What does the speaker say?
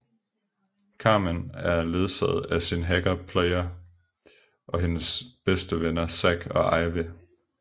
Carmen er ledsaget af sin hacker Player og hendes bedste venner Zack og Ivy